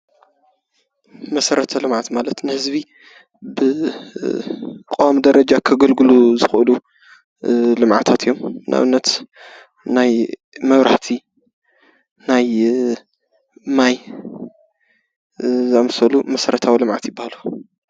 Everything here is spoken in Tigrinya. መሰረተ ልምዓት ማለት ብቆዋሚ ደረጃ ንህዝቢ ከገልግሉ ዝክእሉ፤ ንኣብነት መብራህቲ ፣ማይ ዝኣመሰሉ መሰረታዊ ልምዓታት ይባሃሉ።